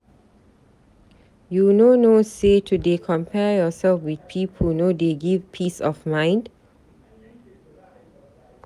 You no know sey to dey compare yoursef with pipu no dey give peace of mind?